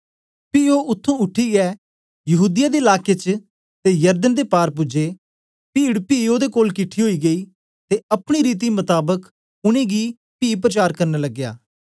पी ओ उत्त्थुं उठीयै यहूदीया दे लाके च ते यरदन दे पार पूजे पीड पी ओदे कोल किठी ओई गेई ते अपनी रीति मताबक उनेंगी पी प्रचार करन लगया